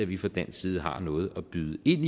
vi fra dansk side har noget at byde ind